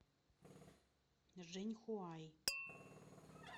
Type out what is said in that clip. жэньхуай